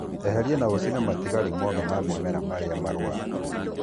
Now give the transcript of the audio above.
Eheria na ũcine matigari mothe ma mimera maria marũaru